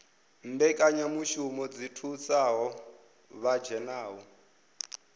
mbekanyamushumo dzi thusaho vha dzhenaho